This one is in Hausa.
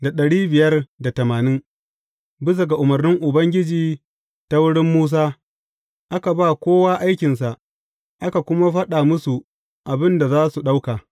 Bisa ga umarnin Ubangiji ta wurin Musa, aka ba kowa aikinsa, aka kuma faɗa musu abin da za su ɗauka.